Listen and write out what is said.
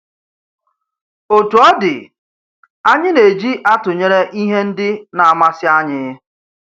Otú ọ dị, anyị na-eji atụnyere ihte ndị na-amasị anyị.